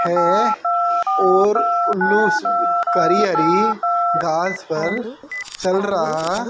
है और उल्लू करी हरी घास पर चल रहा--